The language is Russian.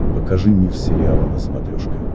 покажи мир сериала на смотрешке